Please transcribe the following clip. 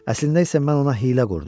Əslində isə mən ona hiylə qurdum.